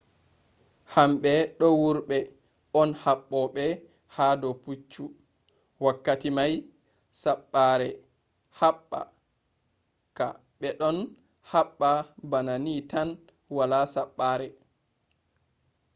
hamɓe do wurɓe on haɓoɓe ha do puccu wakkati mai saɓɓare heɓɓa ka be ɗon haɓɓa bana ni tan wala saɓɓare